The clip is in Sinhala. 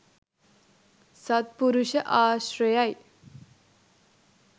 සද්පුරුෂ ආශ්‍රයයි.